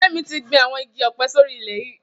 Femi ti gbin awọn igi ọ̀pẹ̀ sóri ilè yi